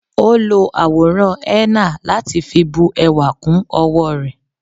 O lọ àwòrán henna láti fi bu ẹwà kún owó rẹ